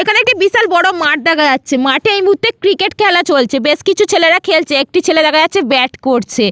এখানে একটি বিশাল বড় মাঠ দেখা যাচ্ছে মাঠে এই মুহূর্তে ক্রিকেট খেলা চলছে বেশ কিছু ছেলেরা খেলছে একটি ছেলে দেখা যাচ্ছে ব্যাট করছে।